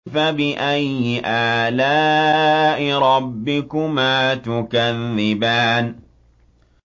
فَبِأَيِّ آلَاءِ رَبِّكُمَا تُكَذِّبَانِ